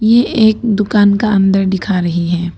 ये एक दुकान का अंदर दिखा रही है।